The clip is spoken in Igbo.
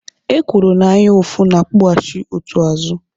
Ekworo na anyaụfụ n'akpuhachi otu azụ